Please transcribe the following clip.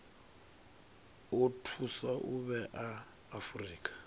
o thusa u vhea afurika